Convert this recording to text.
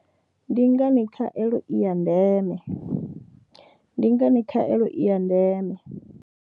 Ndi ngani khaelo i ya ndeme. Ndi ngani khaelo i ya ndeme.